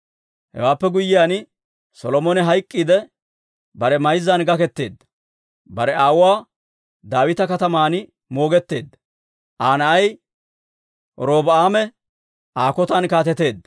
Hewaappe guyyiyaan, Solomone hayk'k'iidde, bare mayzzan gaketeedda; bare aawuwaa Daawita Kataman moogetteedda. Aa na'ay Robi'aame Aa kotan kaateteedda.